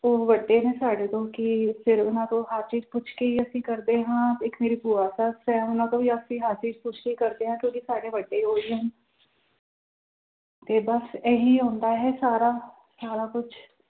ਉਹ ਵੱਡੇ ਨੇ ਸਾਡੇ ਤੋਂ ਕਿ ਫਿਰ ਉਹਨਾਂ ਤੋਂ ਹਰ ਚੀਜ਼ ਪੁੱਛ ਕੇ ਹੀ ਅਸੀਂ ਕਰਦੇ ਹਾਂ, ਇੱਕ ਮੇਰੀ ਭੂਆ ਸੱਸ ਹੈ ਉਹਨਾਂ ਤੋਂ ਵੀ ਅਸੀਂ ਹਰ ਚੀਜ਼ ਪੁੱਛ ਕੇ ਕਰਦੇ ਹਾਂ ਕਿਉਂਕਿ ਸਾਡੇ ਵੱਡੇ ਉਹੀ ਹੈ ਤੇ ਬਸ ਇਹੀ ਹੁੰਦਾ ਹੈ ਸਾਰਾ ਸਾਰਾ ਕੁਛ